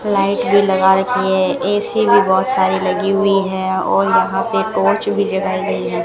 Light भी लगा रखी है ए_सी भी बहुत सारी लगी हुई है और यहां पे टॉर्च भी जलाई गई है।